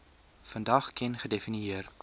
vandag ken gedefinieer